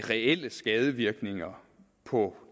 reelle skadevirkninger på